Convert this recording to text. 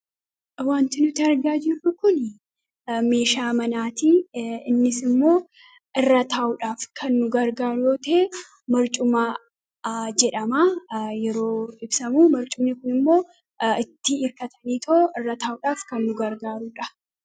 Wanti nuti argaa jirru kun meeshaa manaati. Innis irra taa'uuf kan nu gargaaru yommuu ta'u, barcuma jedhama. Barcumoonni tokko tokko immoo itti hirkatanii irra taa'uuf kan nu gargaaraniidha.